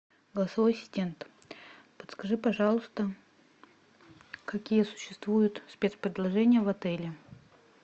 голосовой ассистент подскажи пожалуйста какие существуют спецпредложения в отеле